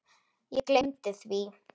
Ég gleymdi því.